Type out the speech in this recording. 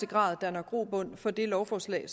grad danner grobund for det lovforslag